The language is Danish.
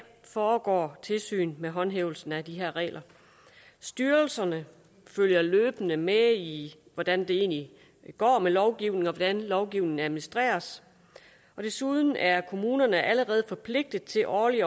foregår tilsyn med håndhævelsen af de her regler styrelserne følger løbende med i hvordan det egentlig går med lovgivningen og hvordan lovgivningen administreres og desuden er kommunerne allerede forpligtet til årligt